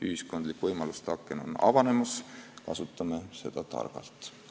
Ühiskondlik võimaluste aken on avanemas, kasutame seda targalt.